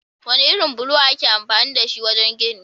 Wane irin bulo ake amfani dashi wajen gini?